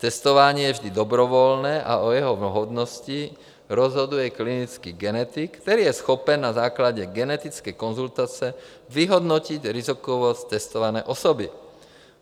Testování je vždy dobrovolné a o jeho vhodnosti rozhoduje klinický genetik, který je schopen na základě genetické konzultace vyhodnotit rizikovost testované osoby.